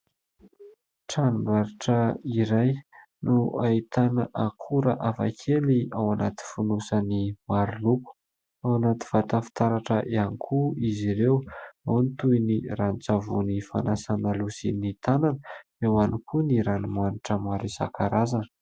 Tranombarotra iray no ahitana akora hafakely ao anaty fonosany maro loko, ao anaty vata fitaratra ihany koa izy ireo. Ao ny toy ny rano-tsavony fanasàna loha sy ny tanana ; eo ihany koa ny ranomanitra maro isan-karazany.